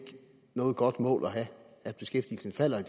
noget godt mål at have at beskæftigelsen falder i